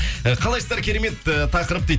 э қалайсыздар керемет э тақырып дейді